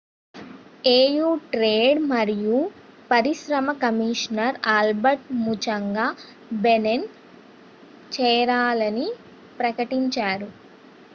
AU trade మరియు పరిశ్రమ commissioner Albert Muchanga Benin చేరాలని ప్రకటించారు